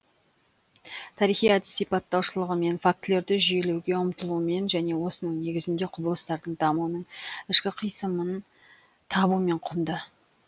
тарихи әдіс сипаттаушылығымен фактілерді жүйелеуге ұмтылуымен және осының негізінде құбылыстардың дамуының ішкі қисынын табуымен құнды